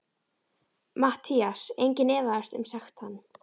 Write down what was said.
MATTHÍAS: Enginn efaðist um sekt hans.